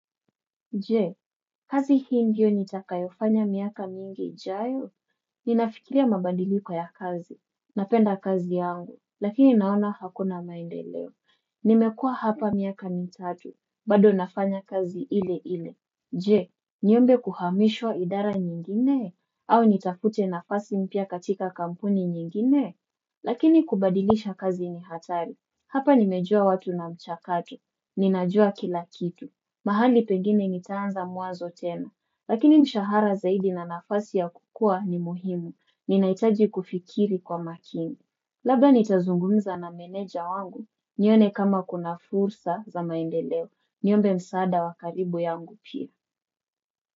Je, kazi hii ndio nitakayo fanya miaka mingi ijayo. Ninafikiria mabadiliko ya kazi. Napenda kazi yangu. Lakini naona hakuna maendeleo. Nimekuwa hapa miaka mitatu. Bado nafanya kazi ile ile. Je! Niombe kuhamishwa idara nyingine? Au nitafute nafasi mpya katika kampuni nyingine? Lakini kubadilisha kazi ni hatari. Hapa nimejua watu na mchakato. Ninajua kila kitu. Mahali pengine nitaanza muanzo tena, lakini mshahara zaidi na nafasi ya kukua ni muhimu, ninahitaji kufikiri kwa makini. Labda nitazungumza na meneja wangu, nione kama kuna fursa za maendeleo, niombe msaada wakaribu yangu pia.